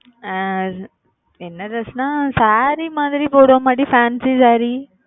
ஆஹ் என்ன dress ன்னா saree மாதிரி போடுவோமா டி fancy saree